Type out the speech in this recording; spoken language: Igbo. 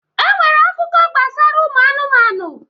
E nwere akụkọ gbasara ụmụ anụmanụ